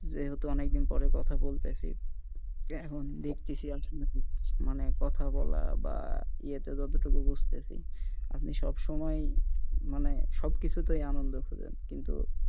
যেহেতু অনেক দিন যাবৎ কথা বলতেছি এখন দেখতেছি আপনাকে মানে কথা বলা বা ইয়েতে যত টুকু বুঝতেছি আপনি সব সময় মানে সব কিছুতেই আনন্দ খোঁজেন কিন্তু,